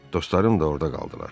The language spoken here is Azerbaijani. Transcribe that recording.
Dostlarım da orda qaldılar.